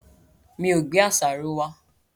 Mi ò gbé àṣàrò wá.